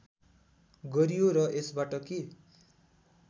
गरियो र यसबाट के